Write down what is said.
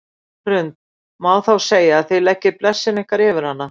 Hrund: Má þá segja að þið leggið blessun ykkar yfir hana?